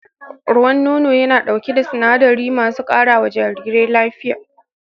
Ruwan nono yana ɗauke da sinadarai masu karawa jarirai lafiya